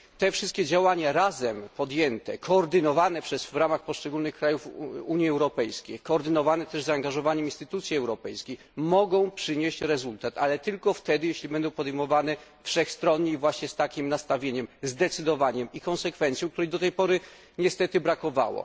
Te wszystkie działania razem podejmowane, koordynowane w ramach poszczególnych krajów Unii Europejskiej, koordynowane też przez zaangażowane instytucje europejskie, mogą przynieść rezultat, ale tylko wtedy, jeśli będą podejmowane wszechstronnie i właśnie z takim nastawieniem, zdecydowaniem i konsekwencją, której do tej pory niestety brakowało.